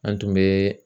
An tun bɛ